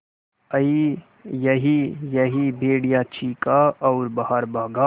अईयईयई भेड़िया चीखा और बाहर भागा